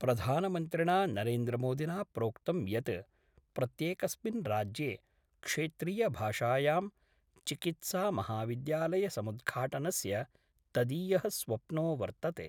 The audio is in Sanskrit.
प्रधानमन्त्रिणा नरेन्द्रमोदिना प्रोक्तं यत् प्रत्येकस्मिन् राज्ये क्षेत्रीयभाषायां चिकित्सामहाविद्यालयसमुद्घाटनस्य तदीय: स्वप्नो वर्तते।